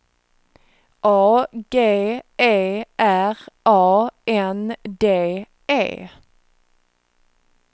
A G E R A N D E